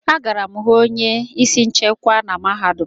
Agara m ịhụ onye isi nchekwa na mahadum a